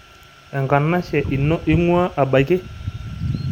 Enkanashe ino ing'ua abaiki?